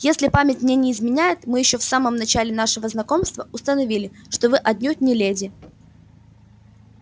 если память мне не изменяет мы ещё в самом начале нашего знакомства установили что вы отнюдь не леди